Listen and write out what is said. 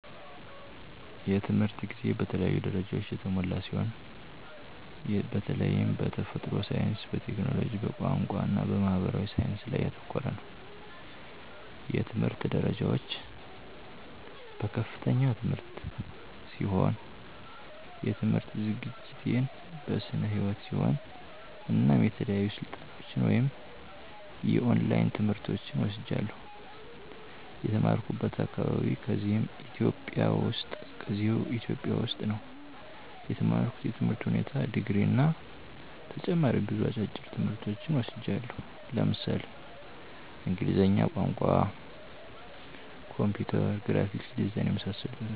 የትምህርት ጊዜ በተለያዩ ደረጃዎች የተሞላ ሲሆን በተላይም በተፈጥሮ ሳይንስ፣ በቴክኖሎጂ፣ በቋንቋ እና በማህበራዊ ሳይንስ ላይ ያተኮረ ነው። የትምህርት ደረጃዎች፦ በከፍተኛ ትምህርት ሲሆን የትምህርት ዝግጅቴን በስነ ህይወት ሲሆን እናም የተለያዩ ስልጠናዎች ወይም የኦላይን ትምህርቶችን ወስጃለሁ። የተማራኩበት አካባቢ ከዚህው ኢትዮጵያ ውስጥ ነው የተማርኩት የትምህር ሁኔታ ድግሪ እና ተጨማሪ ብዙ አጫጭር ትምህርቶች ወስጃለሁ ለምሳሌ እንግሊዝኛ ቋንቋ፣ ኮምፒውተር፣ ግራፊክስ ዲዛይን የመሳሰሉትን ወስጃለሁ።